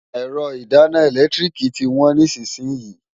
Ẹ̀rọ ìdáná ẹ̀lẹ́tíríìkì tí wọ́n nísìnyín.